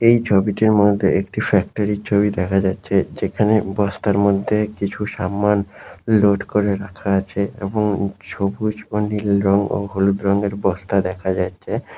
এই ছবিটির মধ্যে একটি ফ্যাক্টরি এর ছবি দেখা যাচ্ছে যেখানে বস্তার মধ্যে কিছু জিনিস সামান লোড করে রাখা আছে এবং সবুজ বা নীল রং ও হলুদ রঙের বস্তা দেখা যাচ্ছে।